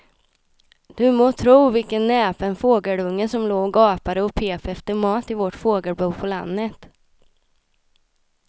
Du må tro vilken näpen fågelunge som låg och gapade och pep efter mat i vårt fågelbo på landet.